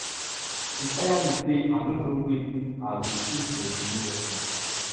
e tire me sey i no know wetin i go see for di new office